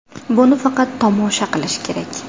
Buni faqat tomosha qilish kerak.